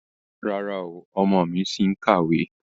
Rárá o, ọmọ mi ṣì ń kàwé.